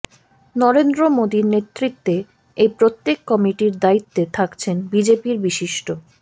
নরেন্দ্র মোদীর নেতৃত্বে এই প্রত্যেক কমিটির দায়িত্বে থাকছেন বিজেপির বিশিষ্ট